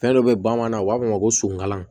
Fɛn dɔ be bamananw u b'a fɔ o ma ko sunkalan